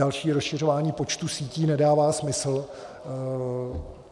Další rozšiřování počtu sítí nedává smysl.